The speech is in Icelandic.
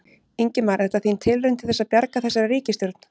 Ingimar: Er þetta þín tilraun til þess að bjarga þessari ríkisstjórn?